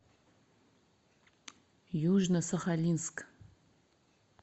южно сахалинск